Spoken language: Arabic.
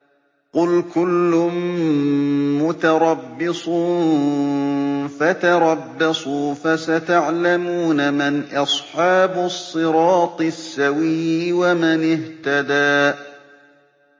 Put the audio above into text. قُلْ كُلٌّ مُّتَرَبِّصٌ فَتَرَبَّصُوا ۖ فَسَتَعْلَمُونَ مَنْ أَصْحَابُ الصِّرَاطِ السَّوِيِّ وَمَنِ اهْتَدَىٰ